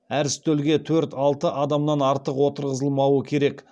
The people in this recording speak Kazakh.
әр үстелге төрт алты адамнан артық отырғызылмауы керек